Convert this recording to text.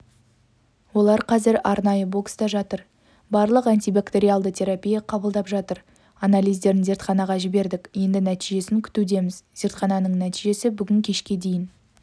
олар қазір арнайы бокста жатыр барлық антибактериалды терапия қабылдап жатыр анализдерін зертханаға жібердік енді нәтижесін күтудеміз зертхананың нәтижесі бүгін кешке дейін